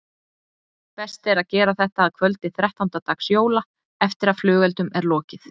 Best er að gera þetta að kvöldi þrettánda dags jóla eftir að flugeldum er lokið.